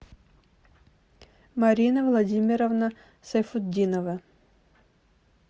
марина владимировна сайфутдинова